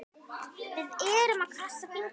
Við erum að krossa fingur.